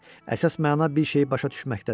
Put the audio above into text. Əsas məna bir şeyi başa düşməkdədir.